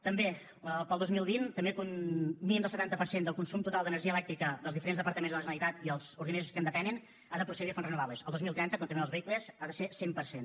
també per al dos mil vint que un mínim del setanta per cent del consum total d’energia elèctrica dels diferents departaments de la generalitat i els organismes que en depenen ha de procedir de fonts renovables el dos mil trenta com també en els vehicles ha de ser el cent per cent